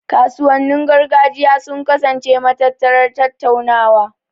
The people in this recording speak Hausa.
Kasuwannin gargajiya sun kasance matattarar tattaunawa.